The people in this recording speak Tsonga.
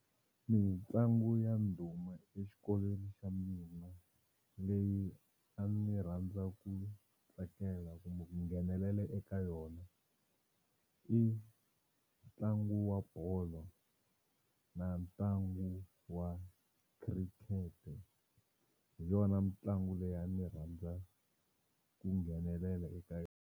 Mitlangu ya ndhuma exikolweni xa mina leyi a ndzi rhandza ku tsakela kumbe ku nghenelela eka yona i ntlangu wa bolo na ntlangu wa cricket hi yona mitlangu leyi a ni rhandza ku nghenelela eka .